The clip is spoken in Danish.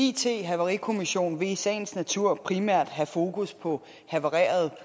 it havarikommission vil i sagens natur primært have fokus på havarerede